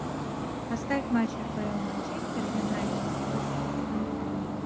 поставь матч апл манчестер юнайтед против тоттенхэма